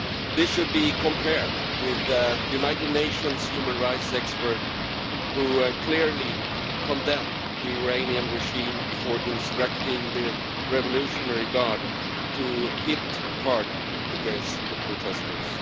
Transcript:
This should be compared with the United Nations human rights expert who clearly condemned the Iranian regime for instructing the Revolutionary Guard to hit hard against the protesters.